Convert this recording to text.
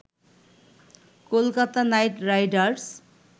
Kolkata Knight Riders